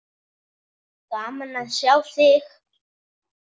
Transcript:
Gaman að sjá þig.